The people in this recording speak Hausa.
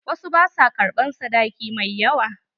Wasu ba sua ƙarɓan sadaki mai yawa.